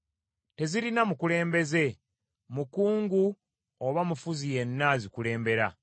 Tebirina mukulembeze, mukungu oba mufuzi yenna abikulembera,